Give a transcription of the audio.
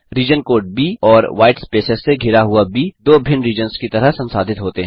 reason code ब और white spaces से घिरा हुआ ब दो भिन्न रीजन्स की तरह संसाधित होते हैं